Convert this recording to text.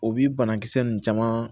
O bi banakisɛ nunnu caman